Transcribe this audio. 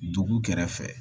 Dugu kɛrɛfɛ